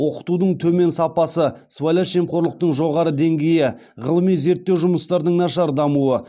оқытудың төмен сапасы сыбайлас жемқорлықтың жоғары деңгейі ғылыми зерттеу жұмыстарының нашар дамуы